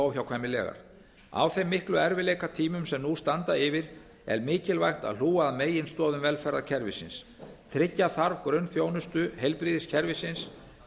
óhjákvæmilegar á þeim miklu erfiðleikatímum sem nú standa yfir er mikilvægt að hlúa að meginstoðum velferðarkerfisins tryggja þarf grunnþjónustu heilbrigðiskerfisins